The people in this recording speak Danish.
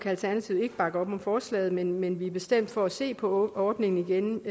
alternativet ikke bakke op om forslaget men men vi er stemt for at se på ordningen igen